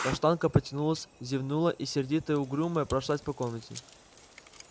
каштанка потянулась зевнула и сердитая угрюмая прошлась по комнате